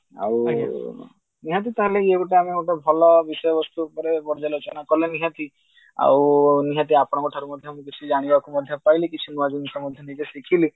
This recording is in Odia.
ଆଉ ନିହାତି ତ ଇଏ ଗୋଟେ ଆମ ଗୋଟେ ଭଲ ବିଷୟବସ୍ତୁ ଉପରେ ପ୍ରଜ୍ୟାଲୋଚନା କଲେ ନିହାତି ଆଉ ନିହାତି ଆପଣଙ୍କ ଠାରୁ ମଧ୍ୟ ମୁଁ କିଛି ମଧ୍ୟ ଜାଣିବାକୁ ପାଇଲି କିଛି ନୂଆ ଜିନିଷ ମୁଁ ମଧ୍ୟ ଶିଖିଲି